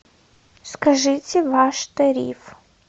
скажите ваш тариф